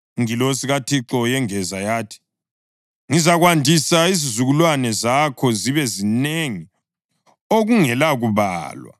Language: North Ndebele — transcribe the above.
Ingilosi kaThixo yengeza yathi, “Ngizakwandisa izizukulwane zakho zibe zinengi okungelakubalwa.”